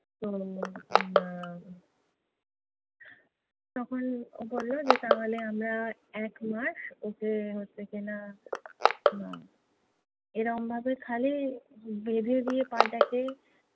তো, আহ তখন বললো যে তাহলে আমরা একমাস ওকে হচ্ছে কি না এরকমভাবে খালি বেঁধে দিয়ে পা টাকে